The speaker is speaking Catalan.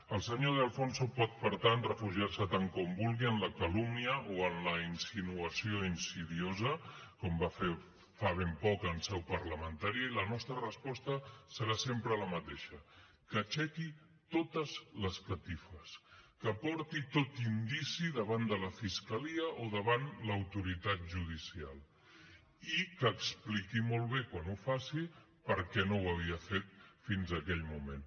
el senyor de alfonso pot per tant refugiar se tant com vulgui en la calúmnia o en la insinuació insidiosa com va fer fa ben poc en seu parlamentària i la nostra resposta serà sempre la mateixa que aixequi totes les catifes que porti tot indici davant de la fiscalia o davant l’autoritat judicial i que expliqui molt bé quan ho faci per què no ho havia fet fins a aquell moment